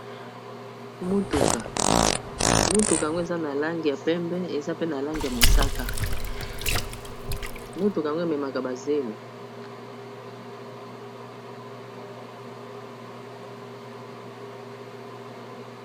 Mutuka mutuka yango eza na langi ya pembe eza pe na lange ya mosaka motuka ango ememaka bazelo